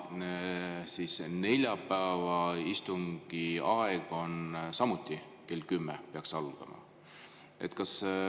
See neljapäevase istungi aeg on samuti kell 10, siis peaks see algama.